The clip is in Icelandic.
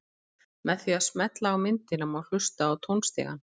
Með því að smella á myndina má hlusta á tónstigann.